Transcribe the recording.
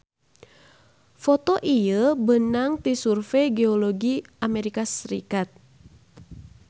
Foto ieu beunang ti Survey Geologi AS